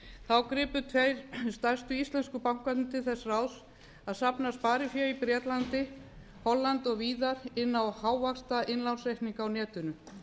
þá gripu tveir stærstu íslensku bankarnir til þess ráðs að safna sparifé í bretlandi hollandi og víðar inn á hávaxtainnlánsreikninga á netinu